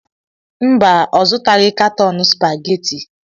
Mba, ọ zụtaghị katọn spaghetti.